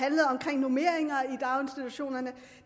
normeringer i daginstitutionerne